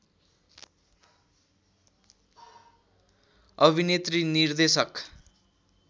अभिनेत्री निर्देशक